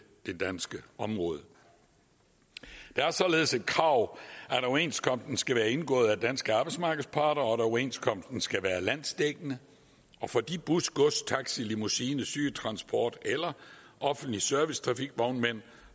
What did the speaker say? det danske område det er således et krav at overenskomsten skal være indgået af danske arbejdsmarkedsparter og at overenskomsten skal være landsdækkende og for de bus gods taxi limousine sygetransport eller offentlig servicetrafik vognmænd